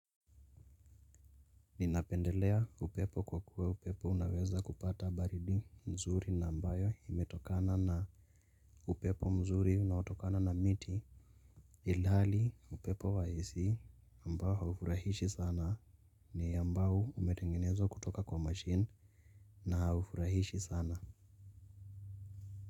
Ninapendelea upepo kwa kuwa upepo unaweza kupata baridi mzuri na ambayo imetokana na upepo mzuri na hutokana na miti. Ilhali upepo wa AC ambao haufurahishi sana ni ambao umetengenezwa kutoka kwa machine na haufurahishi sana.